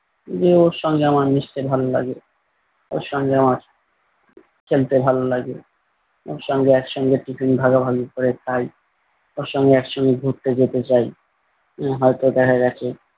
যে ওর সঙ্গে আমার মিশতে ভালো লাগে। ওর সঙ্গে আমার খেলতে ভালো লাগে ওর সঙ্গে এক সঙ্গে টিফিন ভাগাভাগি করে খাই ওর সঙ্গে এক সঙ্গে ঘুরতে যেতে চাই আহ হয়তো দেখা গেছে